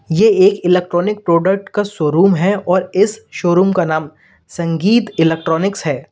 ये एक electronic product का शोरूम है और इस शोरूम का नाम संगीत इलेक्ट्रॉनिक्स है।